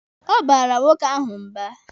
Ọ baara nwoke ahụ mba.